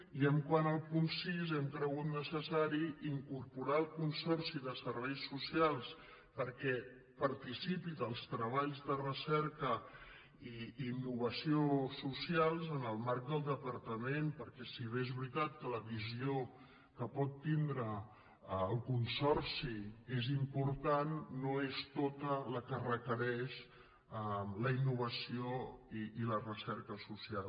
i quant al punt sis hem cregut necessari incorporar el consorci de serveis socials perquè participi dels tre·balls de recerca i innovació socials en el marc del de·partament perquè si bé és veritat que la visió que pot tindre el consorci és important no és tota la que re·quereix la innovació i la recerca social